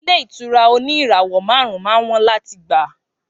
Ilé ìtura òní ìràwọ màrún má ń wón làtí gbà.